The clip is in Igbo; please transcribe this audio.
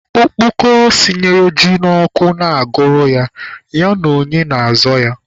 Okpokoro sinyere ji n'ọkụ na-agụrụ ya, ya na onye na-azọ ya?